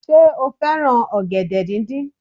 Sé o fẹ́ràn ọ̀gẹ̀dẹ̀ díndín